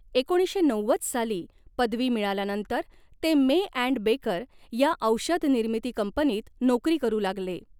एकोणीसशे नव्वद साली पदवी मिळाल्यानंतर ते मे ॲन्ड बेकर या औ़षध निर्मिती कंपनीत नोकरी करू लागले.